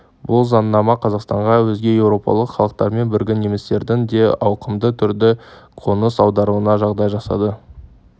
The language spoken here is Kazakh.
бұл заңнама қазақстанға өзге еуропалық халықтармен бірге немістердің де ауқымды түрде қоныс аударуына жағдай жасады